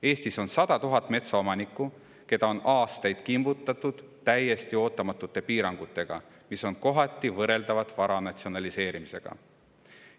Eestis on 100 000 metsaomanikku, keda on aastaid kimbutatud täiesti ootamatute piirangutega, mis on kohati võrreldavad vara natsionaliseerimisega.